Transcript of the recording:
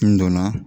N donna